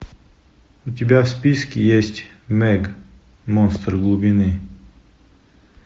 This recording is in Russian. у тебя в списке есть мег монстр глубины